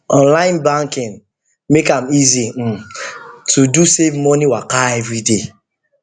online banking make am easy um to do safe money waka every day